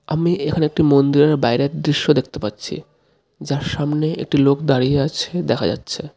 আমি এখানে একটি মন্দিরের বাইরে দৃশ্য দেখতে পাচ্ছি যার সামনে একটি লোক দাঁড়িয়ে আছে দেখা যাচ্ছে.